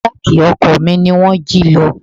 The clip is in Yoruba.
Jáákì ọkọ̀ mi ni wón jí lọ.